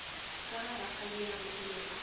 ka ga rakgadiago o be